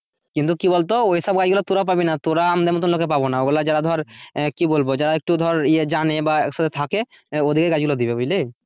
কিন্তু কি বলতো ওই সব গাছ গুলো তোরা পাবিনা তোরা আমাদের মতন লোকেরা পাবেন ওই গুলো ধর আহ কি বলবো যারা ধর ইয়ে জানে বা জানে ওদের কে গাছ গুলো দিয়ে দেবে বুঝলি?